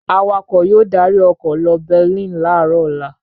Awakọ̀ yóò darí ọkọ̀ lọ Berlin láàárọ̀ ọ̀la.